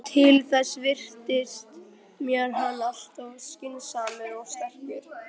Til þess virtist mér hann alltof skynsamur og sterkur.